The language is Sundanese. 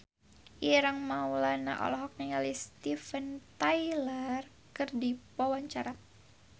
Ireng Maulana olohok ningali Steven Tyler keur diwawancara